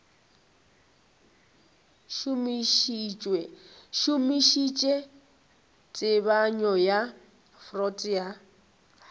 šomišitše tebanyo ya freud ya